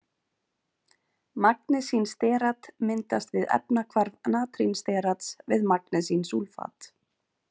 Magnesínsterat myndast við efnahvarf natrínsterats við magnesínsúlfat.